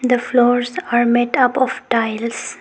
The floors are made up of tiles.